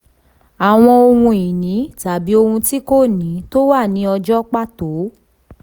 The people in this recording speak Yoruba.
àwọn ohun ìní tàbí ohun tí kò ní tó wà ní ọjọ́ pàtó.